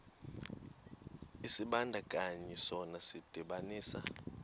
isibandakanyi sona sidibanisa